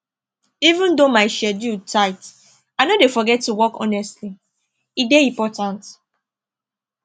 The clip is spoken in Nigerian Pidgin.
even though my schedule tight i no dey forget to walk honestly e dey important